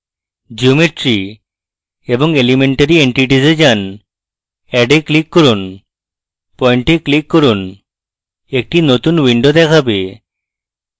geometry এবং elementary entities a যান add a click করুন point a click করুন একটি নতুন window দেখাবে